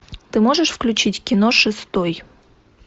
ты можешь включить кино шестой